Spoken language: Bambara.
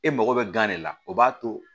E mago bɛ gan de la o b'a to